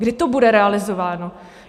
Kdy to bude realizováno?